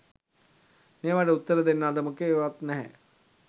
මේවට උත්තර දෙන්න අද මොකෙක්වත් නැ